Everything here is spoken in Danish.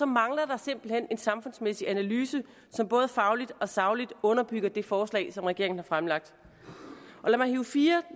mangler der simpelt hen en samfundsmæssig analyse som både fagligt og sagligt underbygger det forslag som regeringen har fremsat lad mig hive fire